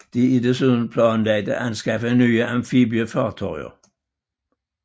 Det er desuden planlagt at anskaffe nye amfibiefartøjer